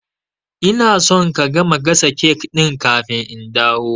Ina son ka gama gasa cake ɗin kafin in dawo